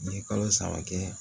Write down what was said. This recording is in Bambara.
N ye kalo saba kɛ